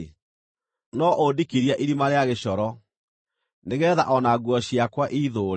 no ũndikirie irima rĩa gĩcoro nĩgeetha o na nguo ciakwa iithũũre.